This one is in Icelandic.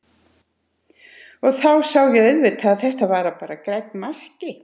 Og þá sá ég auðvitað að þetta var bara grænn maski.